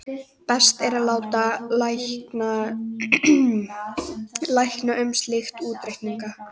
best er að láta lækna um slíka útreikninga